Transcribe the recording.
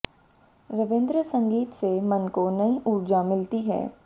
रविंद्र संगीत से मन को नई उर्जा मिलती है